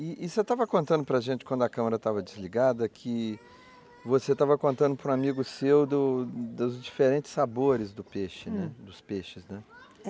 E você estava contando para a gente, quando a câmera estava desligada, que você estava contando para um amigo seu dos dos diferentes sabores do peixe, né, dos peixes, né?